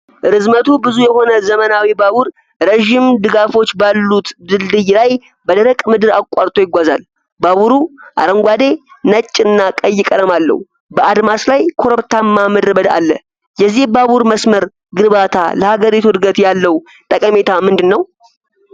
ርዝመቱ ብዙ የሆነ ዘመናዊ ባቡር ረዥም ድጋፎች ባሉት ድልድይ ላይ በደረቅ ምድር አቋርጦ ይጓዛል። ባቡሩ አረንጓዴ፣ ነጭ እና ቀይ ቀለም አለው። በአድማስ ላይ ኮረብታማ ምድረ በዳ አለ። የዚህ ባቡር መስመር ግንባታ ለሀገሪቱ እድገት ያለው ጠቀሜታ ምንድን ነው?